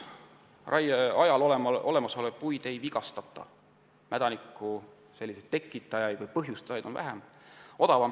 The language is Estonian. Raie ajal olemasolevaid puid ei vigastata, mädaniku tekitajaid on vähem.